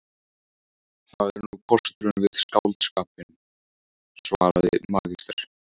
Það er nú kosturinn við skáldskapinn, svaraði magister